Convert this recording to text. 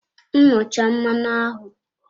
Nnụcha mmanụ ahụ!